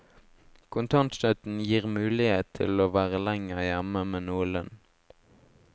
Kontantstøtten gir mulighet til å være lenger hjemme med noe lønn.